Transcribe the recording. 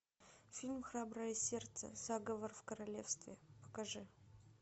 фильм храброе сердце заговор в королевстве покажи